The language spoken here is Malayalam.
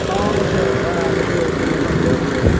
ആ ഓക്കേ ആ ഇങ്ങക്ക് രോഗ്യാളിണ്ടാകുംലെ ഓക്കേ ഓക്കേ ഓക്കേ.